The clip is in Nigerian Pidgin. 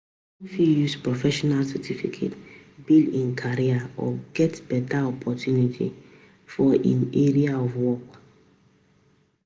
fit use professional certificate, build im career or get better opportunity for im area of work